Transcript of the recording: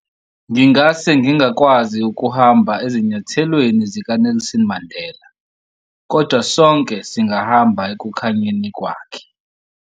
Ngingase ngingakwazi ukuhamba ezinyathelweni zikaNelson Mandela, kodwa sonke singahamba ekukhanyeni kwakhe.